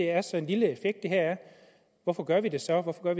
er så lille hvorfor gør vi det så hvorfor gør